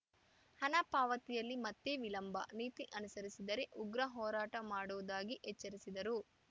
ಹಣ ಪಾವತಿಯಲ್ಲಿ ಮತ್ತೆ ವಿಳಂಬ ನೀತಿ ಅನುಸರಿಸಿದರೆ ಉಘ್ರ ಹೋರಾಟ ಮಾಡುವುದಾಗಿ ಎಚ್ಚರಿಸಿದರು